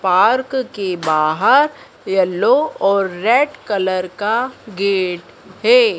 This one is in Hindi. पार्क के बाहर येलो कलर और रेड कलर का गेट है।